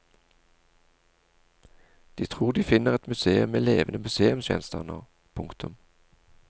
De tror de finner et museum med levende museumsgjenstander. punktum